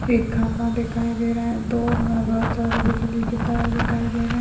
एक खंबा दिखाई दे रहा है दो अ बहुत सारे बिजली के तार दिखाई दे रहे है।